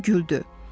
hamı güldü.